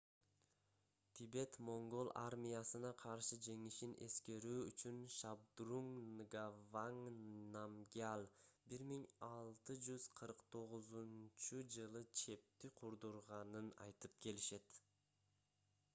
тибет-моңгол армиясына каршы жеңишин эскерүү үчүн шабдрунг нгаванг намгьял 1649-жылы чепти курдурганын айтып келишет